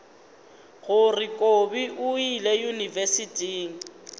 gore kobi o ile yunibesithing